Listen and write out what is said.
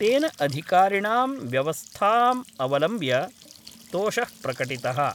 तेन अधिकारिणाम् व्यवस्थामवलम्ब्य तोष: प्रकटितः।